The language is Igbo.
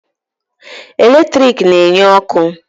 Eletrik na-enye ọkụ.